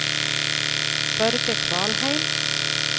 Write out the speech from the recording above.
Børge Kvalheim